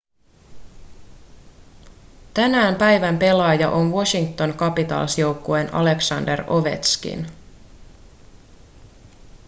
tänään päivän pelaaja on washington capitals joukkueen aleksandr ovetškin